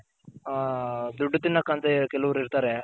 ದುಡ್ಡ್ ತಿನ್ನಕಂತ ಕೆಲವರ್ ಇರ್ತಾರೆ.